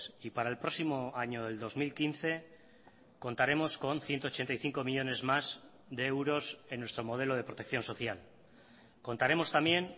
y para el próximo año del dos mil quince contaremos con ciento ochenta y cinco millónes más de euros en nuestro modelo de protección social contaremos también